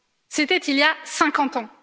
C'était il y a 50